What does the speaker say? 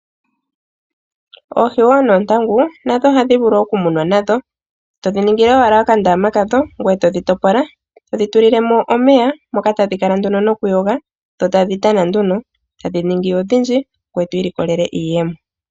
Oohi wo nootangu nadho ohadhi vulu okumunwa nadho. Todhi ningile owala okandama kadho gweye todhi topola, todhi tulilemo omeya moka tadhi kala nokuyoga tadhi tana nduno. Tadhi ningi odhindji gweye twiilikolele iiyemo.